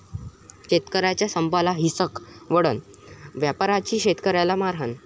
शेतकऱ्यांच्या संपाला हिंसक वळण, व्यापाऱ्यांची शेतकऱ्याला मारहाण